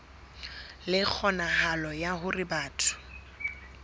le kgonahalo ya hore batho